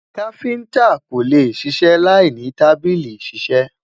kafinta kò lẹ ṣiṣẹ là ìní tábìlì iṣisẹ